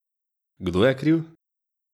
Kdo je kriv?